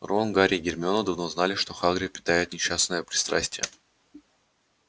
рон гарри и гермиона давно знали что хагрид питает несчастное пристрастие